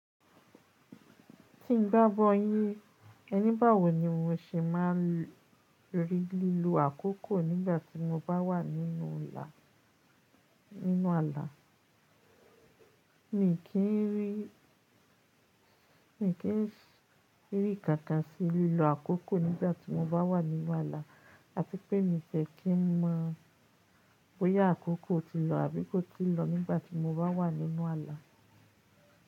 Tí n bá bọ́ yí ẹní báwo ni mo ṣe máa rí lílo àkókò nígbà tí mo bá wà nínú là, nínú ààlà? Mí kí n rí, mí kí n rí kankan sí lílo àkókò nígbà tí mo bá wà nínú ààlà àti pé mí fẹ́ kí n mọ bóyá àkókò ti lọ àbí kò ti lọ nígbà tí mo bá wà nínú ààlà.